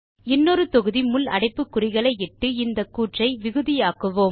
இன்னொரு தொகுதி முள் அடைப்புக்குறிகளை இட்டு இந்த கூற்றை விகுதி ஆக்குவோம்